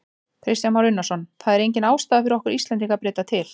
Kristján Már Unnarsson: Það er engin ástæða fyrir okkur Íslendinga að breyta til?